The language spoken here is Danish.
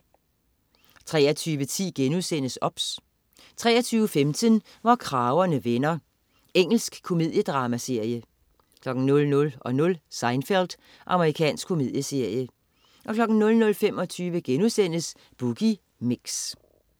23.10 OBS* 23.15 Hvor kragerne vender. Engelsk komediedramaserie 00.00 Seinfeld. Amerikansk komedieserie 00.25 Boogie Mix*